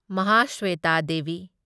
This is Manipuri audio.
ꯃꯍꯥꯁ꯭ꯋꯦꯇꯥ ꯗꯦꯚꯤ